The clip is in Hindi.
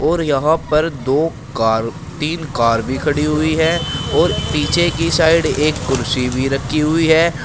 और यहां पर दो कार तीन कार भी खड़ी हुई हैं और पीछे की साइड एक कुर्सी भी रखी हुई है।